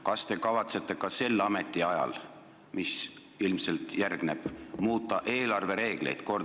Kas te kavatsete ka sel ametiajal, mis ilmselt järgneb, muuta eelarvereegleid?